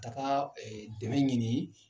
ka taa ee dɛmɛ ɲini